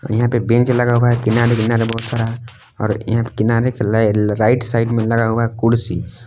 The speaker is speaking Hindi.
और यहां पे बेंच लगा हुआ है किनारे किनारे बहोत सारा और किनारे राइट साइड में लगा हुआ है कुर्सी।